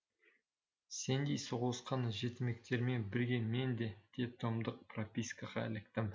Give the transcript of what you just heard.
сеңдей соғылысқан жетімектермен бірге мен де детдомдық пропискаға іліктім